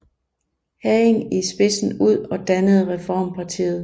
Hagen i spidsen ud og dannede Reformpartiet